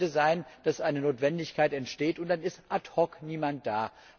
Es könnte sein, dass eine Notwendigkeit entsteht und dann ist ad hoc niemand da.